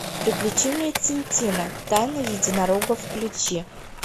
приключения тинтина тайна единорога включи